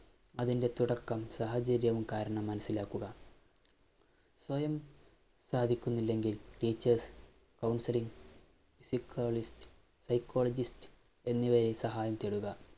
അതിന്‍റെ തുടക്കം സാഹചര്യവും കാരണം മനസിലാക്കുക. സ്വയം സാധിക്കുന്നില്ലെങ്കില്‍ teachers, counselors, psychiatrist, psychologist എന്നിവയെ സഹായം തേടുക,